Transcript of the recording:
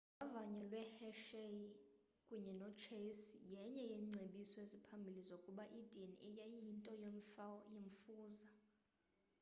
uvavanyo lwehershey kunye nochase yenye yeengcebiso eziphambili zokuba idna yayiyinto yemfuza